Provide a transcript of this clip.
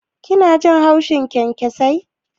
Kina jin haushin kyankyasai?